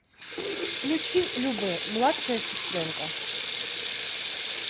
включи любэ младшая сестренка